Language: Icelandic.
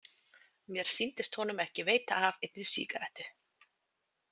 Mér sýndist honum ekki veita af einni sígarettu.